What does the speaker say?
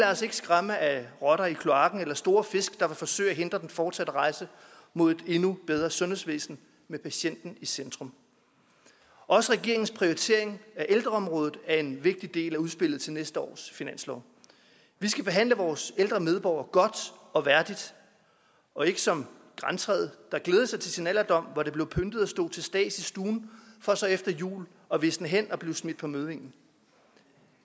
os ikke skræmme af rotter i kloakken eller store fisk der vil forsøge at hindre den fortsatte rejse mod et endnu bedre sundhedsvæsen med patienten i centrum også regeringens prioritering af ældreområdet er en vigtig del af udspillet til næste års finanslov vi skal behandle vores ældre medborgere godt og værdigt og ikke som grantræet der glædede sig til sin alderdom hvor det blev pyntet og stod til stads i stuen for så efter jul at visne hen og blive smidt på møddingen